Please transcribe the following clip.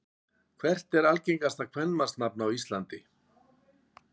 Hvert er algengasta kvenmannsnafn á Íslandi?